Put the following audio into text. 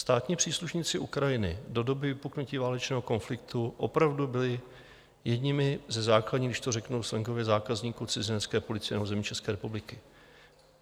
Státní příslušníci Ukrajiny do doby vypuknutí válečného konfliktu opravdu byli jedněmi ze základních, když to řeknu slangově, zákazníků cizinecké policie na území České republiky.